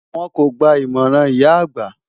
Wọn kò gba ìmọ̀ràn ìyá àgbà.